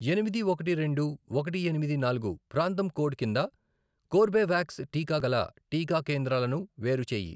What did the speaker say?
ఎనిమిది, ఒకటి, రెండు, ఒకటి, ఎనిమిది, నాలుగు, ప్రాంతం కోడ్ కింద కోర్బేవాక్స్ టీకా గల టీకా కేంద్రాలను వేరుచేయి.